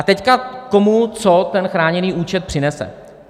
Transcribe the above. A teď komu, co ten chráněný účet přinese.